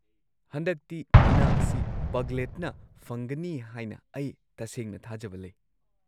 ꯍꯟꯗꯛꯇꯤ ꯃꯅꯥ ꯑꯁꯤ ꯄꯒ꯭ꯂꯦꯠꯅ ꯐꯪꯒꯅꯤ ꯍꯥꯏꯅ ꯑꯩ ꯇꯁꯦꯡꯅ ꯊꯥꯖꯕ ꯂꯩ꯫